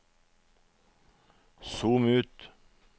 zoom ut